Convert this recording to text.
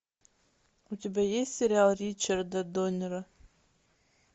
у тебя есть сериал ричарда доннера